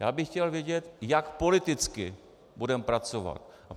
Já bych chtěl vědět, jak politicky budeme pracovat.